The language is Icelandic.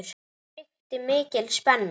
Það ríkti mikil spenna.